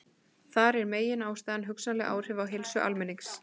Þar er meginástæðan hugsanleg áhrif á heilsu almennings.